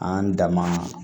An dan ma